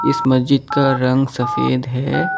इस मस्जिद का रंग सफेद है।